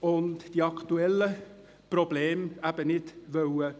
und die aktuellen Probleme nicht lösen.